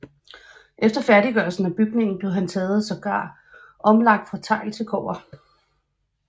Efter færdiggørelsen af bygningen blev taget sågar omlagt fra tegl til kobber